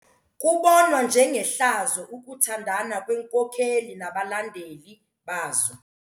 Kubonwa njengehlazo ukuthandana kweenkokeli nabalandeli bazo.